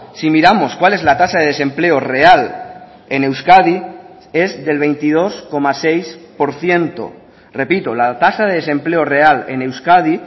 si miramos cuál es la tasa de desempleo real en euskadi es del veintidós coma seis por ciento repito la tasa de desempleo real en euskadi